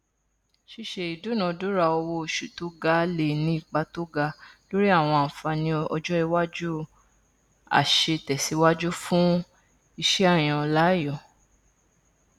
ṣíṣe ìdúnadúrà owó oṣù tó ga le ní ipa tó ga lórí àwọn ànfààní ọjọiwájú aṣètẹsíwájú fún iṣẹàyànláàyò